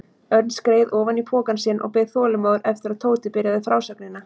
Örn skreið ofan í pokann sinn og beið þolinmóður eftir að Tóti byrjaði frásögnina.